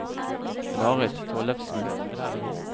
Marit Tollefsen